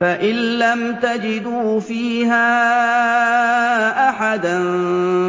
فَإِن لَّمْ تَجِدُوا فِيهَا أَحَدًا